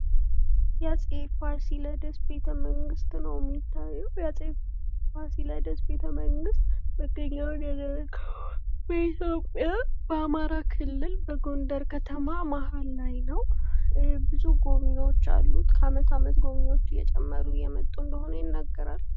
የአፄ ፋሲለደስ ቤተ መንግስት ነዉ የሚታየዉ። የአፄ ፋሲለደስ ቤተ መንግስት መገኛዉን ያደረገዉ በኢትዮጵያ በአማራ ክልል በጎንደር ከተማ መሀል ላይ ነዉ። ብዙ ጎብኝዎች አሉት። ከዓመት ዓመት ጎብኝዎች እየጨመሩ እየመጡ እንደሆነ ይነገራል።